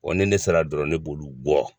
ni ne sera dɔrɔn ne b'olo gɔ